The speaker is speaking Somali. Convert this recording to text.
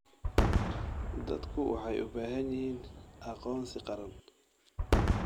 Dadku waxay u baahan yihiin aqoonsi qaran.